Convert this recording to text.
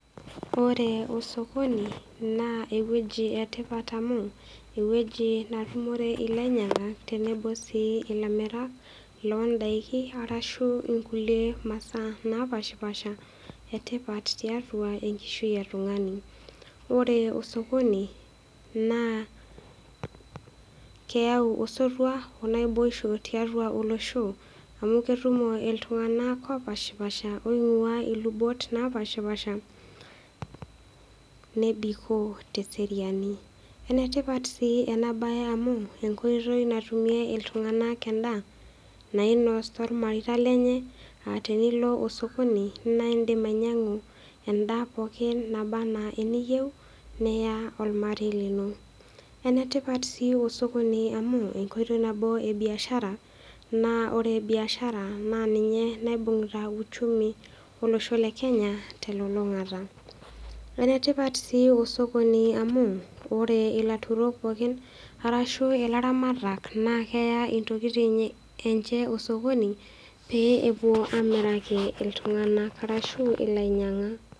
Ore osokoni, naa ewueji e tipat amu ewueji natumore ilainyang'ak tenebo sii ilamirak loo ndaiki arashu inkulie masaa naapaashipaasha etipat tiatua enkishui e tung'ani. Ore osokoni naa keyau osotua o naboishu tiatua olosho amu ketumo iltung'ana opaashipaasha oing'ua ilubot naapaashipaasha nebikoo teseriani. Enetipat sii ena bae amu enkoitoi natumie iltung'ana endaa nainosh tolmareita lenye a tenilo osokoni naa indim ainyang'u endaa pookin naba anaa eniyeu niya olmarei lino. Enetipat sii osokoni amu enkoitoi nabo e biashara naa ore biashara naa ninye naibung'ita uchumi olosho le Kenya telulung'ata. Enetipat sii osokoni amu, ore ilaturok pookin ashu ilaramatak naa eya intokitin enche osokoni pee ewuo amiraki iltung'ana arashu ilainyang'ak.